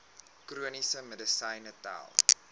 chroniese medisyne tel